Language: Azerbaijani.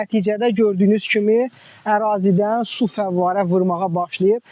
və nəticədə gördüyünüz kimi ərazidən su fəvvarə vurmağa başlayıb.